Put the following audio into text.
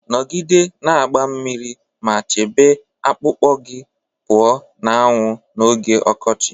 Nọgide na-agba mmiri ma chebe akpụkpọ gị pụọ na anwụ n'oge ọkọchị